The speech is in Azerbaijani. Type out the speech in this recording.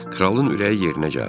Kralın ürəyi yerinə gəldi.